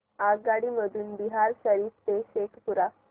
आगगाडी मधून बिहार शरीफ ते शेखपुरा